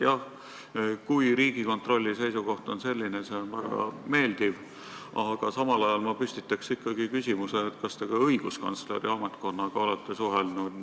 Jah, kui Riigikontrolli seisukoht on selline, siis see on väga meeldiv, aga samal ajal ma püstitaks ikkagi küsimuse, kas te olete ka õiguskantsleri ametkonnaga suhelnud.